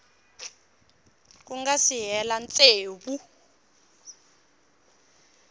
ku nga si hela tsevu